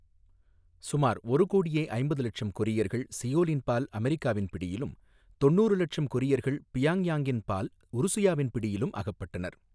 சுமார் ஒரு கோடியே ஐம்பது லட்சம் கொரியர்கள் சியோலின் பால் அமெரிக்காவின் பிடியிலும் தொண்ணூறு இலட்சம் கொரியர்கள் பியாங்யாங்ஙின் பால் உருசுயாவின் பிடியிலும் அகப்பட்டனர்.